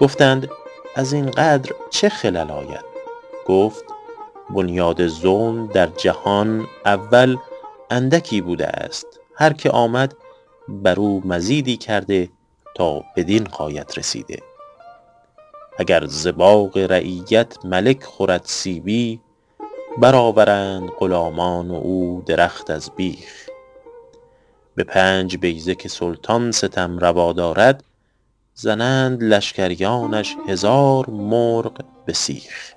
گفتند از این قدر چه خلل آید گفت بنیاد ظلم در جهان اول اندکی بوده است هر که آمد بر او مزیدی کرده تا بدین غایت رسیده اگر ز باغ رعیت ملک خورد سیبی بر آورند غلامان او درخت از بیخ به پنج بیضه که سلطان ستم روا دارد زنند لشکریانش هزار مرغ به سیخ